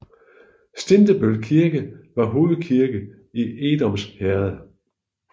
Stintebøl Kirke var hovedkirke i Edoms Herred